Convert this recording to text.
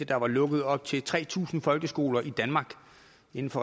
der var lukket op til tre tusind folkeskoler i danmark inden for